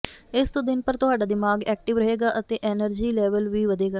ਇਸ ਤੋਂ ਦਿਨ ਭਰ ਤੁਹਾਡਾ ਦਿਮਾਗ਼ ਐਕਟਿਵ ਰਹੇਗਾ ਅਤੇ ਐਨਰਜੀ ਲੈਵਲ ਵੀ ਵਧੇਗਾ